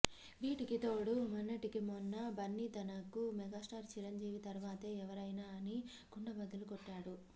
వీటికి తోడు మొన్నటికి మొన్న బన్నీ తనకు మెగాస్టార్ చిరంజీవి తరువాతే ఎవరైనా అని కుండ బద్దలు కొట్టాడు